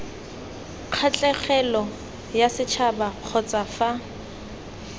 kgatlhegelong yasetšhaba kgotsa c fa